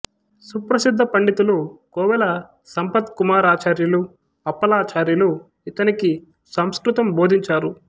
సుప్రసిద్ధ పండితులు కోవెల సంపత్కుమారాచార్యులు అప్పలాచార్యులు ఇతనికి సంస్కృతం బోధించారు